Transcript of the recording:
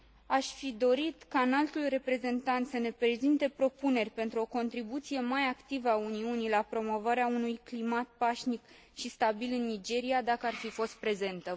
Aș fi dorit ca Înaltul Reprezentant să ne prezinte propuneri pentru o contribuție mai activă a Uniunii la promovarea unui climat pașnic și stabil în Nigeria, dacă ar fi fost prezentă.